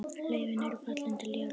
Laufin eru fallin til jarðar.